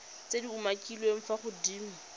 tse di umakiliweng fa godimo